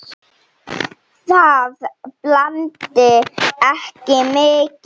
Það blæddi ekki mikið.